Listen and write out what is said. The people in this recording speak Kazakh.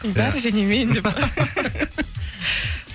қыздар және мен деп